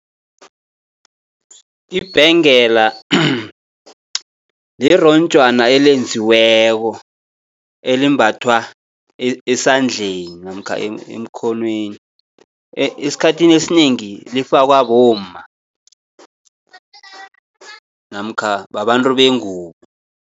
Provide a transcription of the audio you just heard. Ibhengela lironjwana elenziweko elimbathwa esandleni, namkha emkhonweni, esikhathini esinengi lifakwa bomma namkha babantu bengubo.